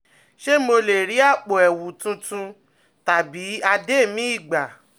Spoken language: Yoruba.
Ṣé mo lè rí àpò ẹ̀wù tuntun tàbí adé míì gbà?